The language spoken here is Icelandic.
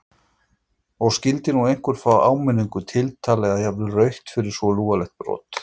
Og skyldi nú einhver fá áminningu, tiltal eða jafnvel rautt fyrir svo lúalegt brot?